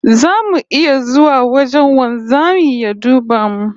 Zamu iya zuwa wajen wanzamin ya duba mu?